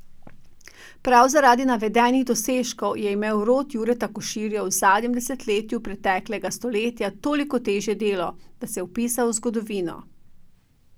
Prav zaradi navedenih dosežkov je imel rod Jureta Koširja v zadnjem desetletju preteklega stoletja toliko težje delo, da se je vpisal v zgodovino.